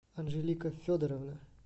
анжелика федоровна